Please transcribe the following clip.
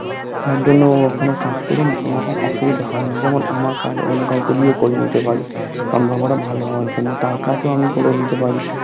যার জন্য ওখানে কাজ করে না কোনো অসুবিধা হয়না যেমন আমার কাজ অন্য কাউকে দিয়ে করিয়ে নিতে পারি সম্পর্কটা ভালো হওয়ার জন্য তার কাজ ও আমি করে দিতে পারি